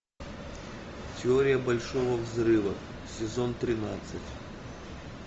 теория большого взрыва сезон тринадцать